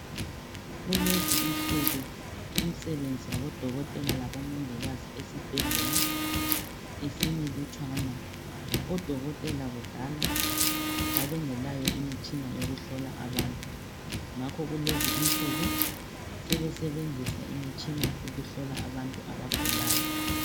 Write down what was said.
Kulezi insuku imsebenzi yabo dokotela labomongikazi esibhedlela isimilutshwana .Odokotela kudala babengelayo imitshina yokuhlola abantu ngakho kulezi insuku sebesebenzisa imitshina ukuhlola abantu abagulayo.